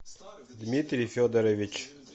дмитрий федорович